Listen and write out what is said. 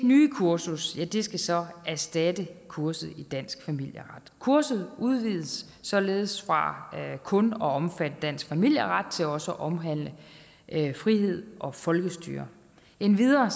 nye kursus skal så erstatte kurset i dansk familieret kurset udvides således fra kun at omfatte dansk familieret til også at omhandle frihed og folkestyre endvidere